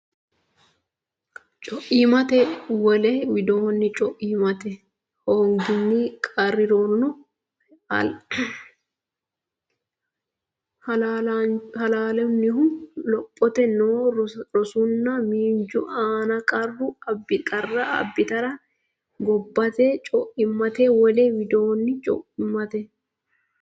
Co immate Wole widoonni co immate hoonginni qarri roorinni heleelannohu lophitanni noo rosunna miinju aana qarra abbitara gobbuwaati Co immate Wole widoonni co immate.